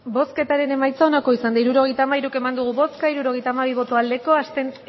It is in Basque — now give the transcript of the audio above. hirurogeita hamairu eman dugu bozka hirurogeita hamabi bai bat